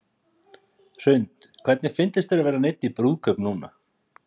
Hrund: Hvernig fyndist þér að vera neydd í brúðkaup núna?